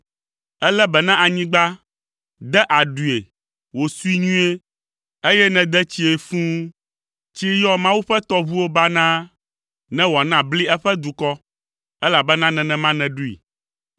Èlé be na anyigba, de aɖui wòsui nyuie, eye nède tsii fũu. Tsi yɔ Mawu ƒe tɔʋuwo banaa, ne wòana bli eƒe dukɔ, elabena nenema nèɖoe.